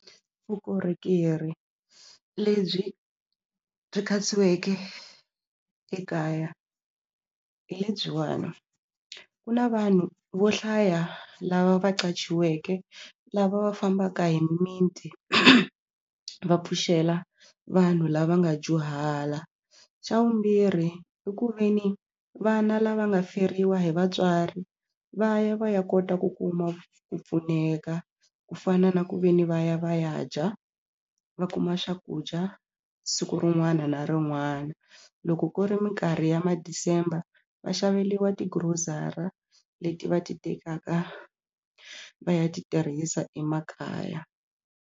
Vukorhokeri lebyi byi katsiweke ekaya hi lebyiwani ku na vanhu vo hlaya lava va qachiweke lava va fambaka hi mimiti va pfuxela vanhu lava nga dyuhala xa vumbirhi i ku ve ni vana lava nga feriwa hi vatswari va ya va ya kota ku kuma ku pfuneka ku fana na ku ve ni va ya va ya dya va kuma swakudya siku rin'wana na rin'wana loko ku ri minkarhi ya ma December va xaveriwa ti-grocery-a leti va ti tekaka va ya ti tirhisa emakaya.